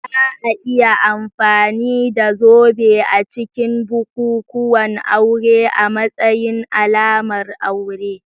Za a iya amfani da zobe a cikin bukukuwan aure a matsayin alamar aure.